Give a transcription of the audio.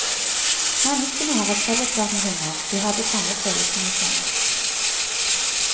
Menneskene har et fellesskap med hunder, de har de samme følelsene som oss.